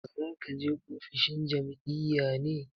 Za ka je ofishin jam'iyya ne?